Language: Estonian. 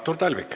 Artur Talvik.